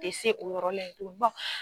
Te se o yɔrɔ la ye tun bɔn